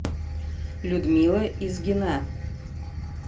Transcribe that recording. людмила изгина